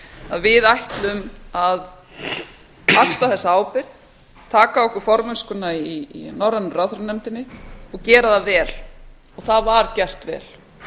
að við ætlum að axla þessa ábyrgð taka að okkur formennskuna í norrænu ráðherranefndinni og gera það vel og það var gert vel